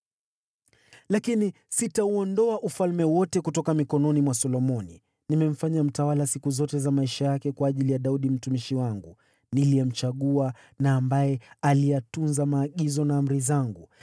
“ ‘Lakini sitauondoa ufalme wote kutoka mikononi mwa Solomoni, nimemfanya mtawala siku zote za maisha yake kwa ajili ya Daudi mtumishi wangu, niliyemchagua na ambaye aliyatunza maagizo na amri zangu.